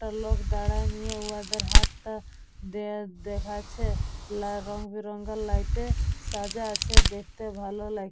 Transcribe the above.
একটা লোক দাঁড়ায় নিয়ে ওদের হাতটা দ্যাখ দেখাচ্ছে লা রংবেরঙের লাইট -এ সাজা আছে দেখতে ভালো লাগ--